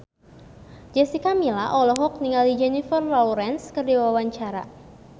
Jessica Milla olohok ningali Jennifer Lawrence keur diwawancara